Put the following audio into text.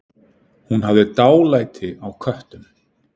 Hún hafði dálæti á köttum.